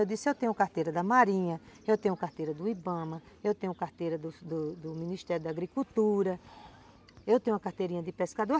Eu disse, eu tenho carteira da Marinha, eu tenho carteira do Ibama, eu tenho carteira do do do Ministério da Agricultura, eu tenho carteirinha de pescador.